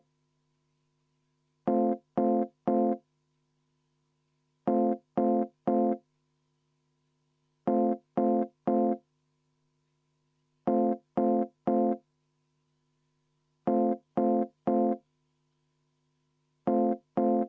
Muudatusettepanek nr 3, esitanud keskkonnakomisjon ja arvestatud täielikult.